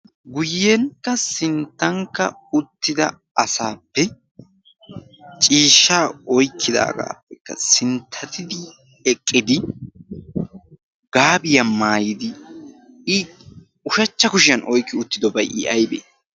guyyenkka sinttankka uttida asaappe ciishshaa oykkidaagaappekka sinttatidi eqqidi gaabiyaa maayidi i ushachcha Kushiyan oyqqi uttidobay i aybee?